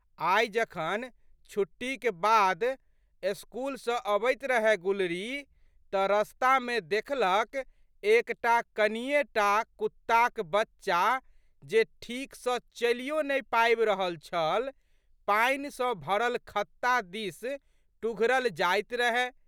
आइ जखन छुट्टीक बाद स्कूल सँ अबैत रहए गुलरी तऽ रस्तामे देखलक एक टा कनिये टा कुत्ताक बच्चा जे ठीक सँ चलियो ने पाबि रहल छल, पानि सँ भरल खत्ता दिस टुघरल जाइत रहय।